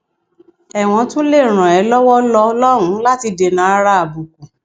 ẹwọn tún lè ràn é lọwọ lọ lọn láti dènàárà àbùkù